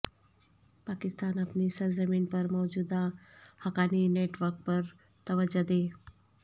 پاکستان اپنی سرزمین پر موجود حقانی نیٹ ورک پر توجہ دے